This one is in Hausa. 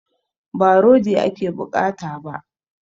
Ba rodi ake bukata ba